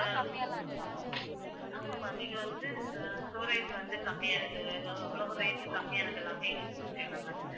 ஆமா ma'am இது வந்து ஆஹ் storage வந்து கம்மியா இருக்குது அவ்ளோ rate கம்மியானது எல்லாமே இருக்குது okay வா ma'am